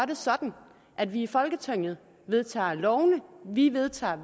det sådan at vi i folketinget vedtager lovene vi vedtager